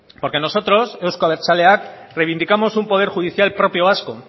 porque nosotros euzko abertzaleak reivindicamos un poder judicial propio vasco